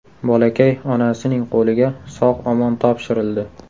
Bolakay onasining qo‘liga sog‘-omon topshirildi.